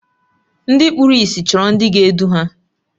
Ndị kpụrụ ịsị chọrọ ndị ga-edu ha.